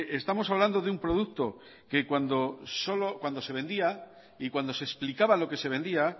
estamos hablando de un producto que cuando se vendía y cuando se explicaba lo que se vendía